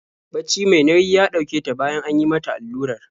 Bacci mai nayi ya ɗauke ta bayan an yi mata allurar.